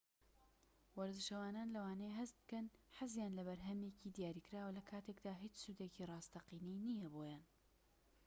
وەرزشەوانان لەوانەیە هەست بکەن حەزیان لە بەرهەمێکی دیاریکراوە لەکاتێکدا هیچ سوودێکی ڕاستەقینەی نیە بۆیان